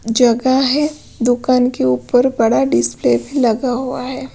जगह है दुकान के ऊपर बड़ा डिस्प्ले भी लगा हुआ है।